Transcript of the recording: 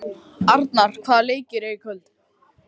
Arnar, hvaða leikir eru í kvöld?